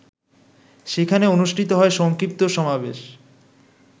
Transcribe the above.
সেখানে অনুষ্ঠিত হয় সংক্ষিপ্ত সমাবেশ।